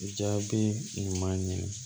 Jaabi ɲuman ɲini